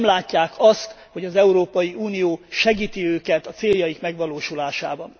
Nem látják azt, hogy az Európai Unió segíti őket a céljaik megvalósulásában.